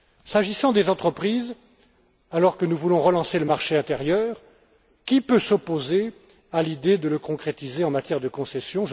S'agissant des entreprises, alors que nous voulons relancer le marché intérieur, qui peut s'opposer à l'idée de le concrétiser en matière de concessions?